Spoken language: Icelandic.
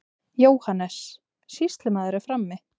JÓHANNES: Sýslumaður er frammi.